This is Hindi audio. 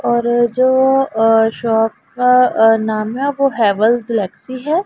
और जो अ शॉप का अ नाम है वो हेवल गैलेक्सी हैं।